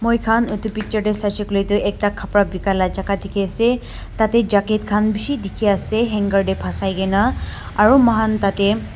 moikhan etu picture teh saise koiley tu ekta kapra bikai lah jaga dikhi ase tah teh jacket khan bhisi dikhi ase hanger teh fasai ke na aru moikhan tah teh.